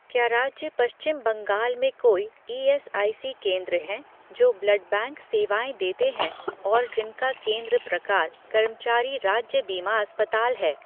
क्या राज्य पश्चिम बंगाल में कोई ईएसआईसी केंद्र हैं जो ब्लड बैंक सेवाएँ देते हैं और जिनका केंद्र प्रकार कर्मचारी राज्य बीमा अस्पताल है?